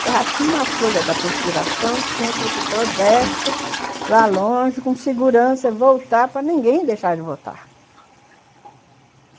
Se errasse uma folha da perfuração, tinha que ir para o Prodéspere, lá longe, com segurança, e voltar para ninguém deixar de votar.